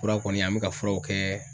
Fura kɔni an bɛ ka furaw kɛ